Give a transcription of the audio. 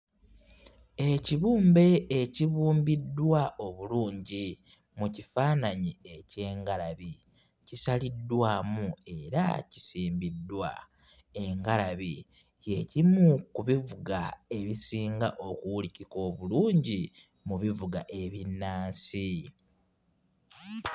Ekibumbe ekibumbiddwa obulungi mu kifaananyi eky'engalabi kisaliddwamu era kisimbiddwa. Engalabi kye kimu ku bivuga ebisinga okuwulikika obulungi mu bivuga ebinnansi.